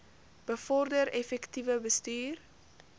bevorder effektiewe bestuur